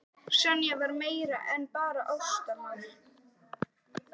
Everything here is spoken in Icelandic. Sonja var meira en bara ástarmál.